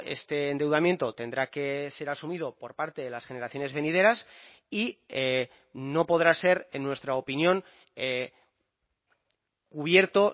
este endeudamiento tendrá que ser asumido por parte de las generaciones venideras y no podrá ser en nuestra opinión cubierto